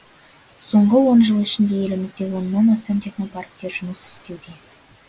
соңғы он жыл ішінде елімізде оннан астам технопарктер жұмыс істеуде